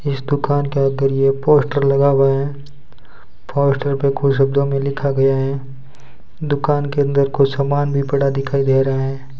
इस दुकान के अंदर ये पोस्टर लगा हुआ है पोस्टर पे कुछ शब्दों में लिखा गया है दुकान के अंदर कुछ सामान भी पड़ा दिखाई दे रहे हैं।